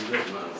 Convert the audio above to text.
Götür.